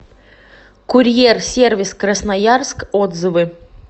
курьер сервис красноярск отзывы